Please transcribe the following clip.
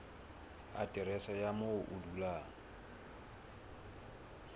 aterese ya moo o dulang